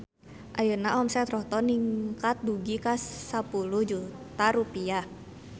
Ayeuna omset Rohto ningkat dugi ka 10 juta rupiah